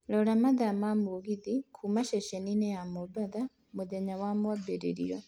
Rora mathaa ma mũgithi kuuma ceceni ya mombatha mũthenya wa mwambĩrĩrio